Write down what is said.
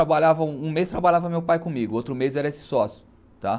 Um mês trabalhava meu pai comigo, outro mês era esse sócio. tá